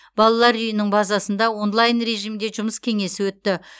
балалар үйінің базасында онлайн режимде жұмыс кеңесі өтті